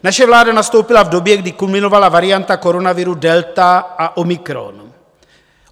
Naše vláda nastoupila v době, kdy kulminovala varianta koronaviru delta a omikron.